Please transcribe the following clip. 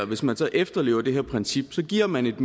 hvis man så efterlever det her princip giver man et